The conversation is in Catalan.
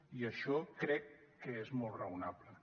i això crec que és molt raonable